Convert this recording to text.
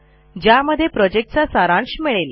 ज्यामध्ये तुम्हाला प्रॉजेक्टचा सारांश मिळेल